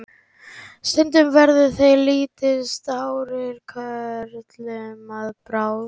stundum verða þeir litlu stærri körlum að bráð